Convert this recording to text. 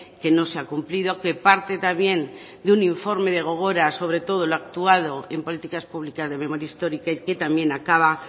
que no se ha cumplido que parte también de un informe de gogora sobre todo en lo actuado en políticas públicas de memoria histórica y que también acaba